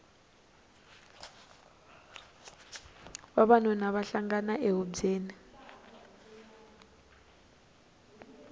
vavanuna va hlangana ehubyeni